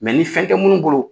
ni fɛn tɛ munnu bolo